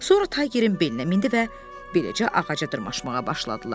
Sonra Taygerin belinə mindi və beləcə ağaca dırmaşmağa başladılar.